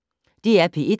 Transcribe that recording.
DR P1